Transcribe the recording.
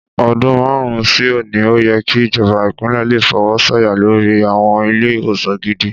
Ọdún márùn-ún sí òní, ó yẹ kí ìjọba Ìpínlẹ̀ le fọwọ́ sọ̀yà lori àwọn ilé-ìwòsàn gidi